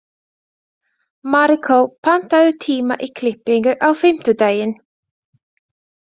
Maríkó, pantaðu tíma í klippingu á fimmtudaginn.